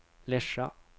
Lesja